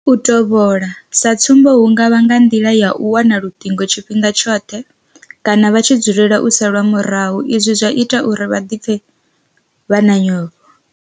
U tovhola, sa tsumbo hu nga vha nga nḓila ya u wana luṱingo tshifhinga tshoṱhe kana vha tshi dzulela u salwa murahu izwi zwa ita uri vha pfhe vha na nyofho.